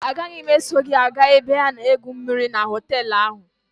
A gaghị m eso gị aga ebe a na-egwu mmịrị na họtelụ ahụ.